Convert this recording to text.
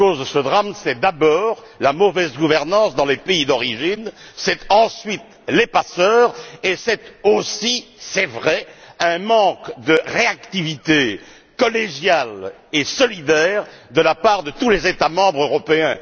Ce dernier est dû, tout d'abord, à la mauvaise gouvernance dans les pays d'origine, ensuite aux passeurs et, aussi, il est vrai, à un manque de réactivité collégiale et solidaire de la part de tous les États membres européens.